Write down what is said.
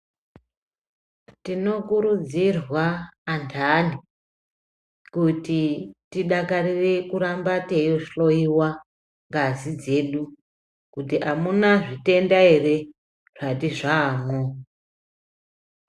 Tinokurudzirwa antani ,kuti tidakarire kuramba teihloiwa ngazi dzedu, kuti amuna zvitenda ere ,zvati zvaamwo.